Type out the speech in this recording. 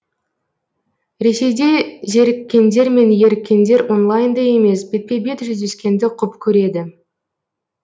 ресейде зеріккендер мен еріккендер онлайнда емес бетпе бет жүздескенді құп көреді